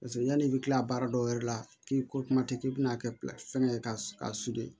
Paseke yanni i bɛ kila baara dɔw yɛrɛ la k'i ko kuma tɛ k'i bɛna kɛ fɛngɛ ye k'a